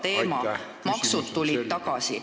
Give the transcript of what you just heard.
Ja maksud tulid tagasi.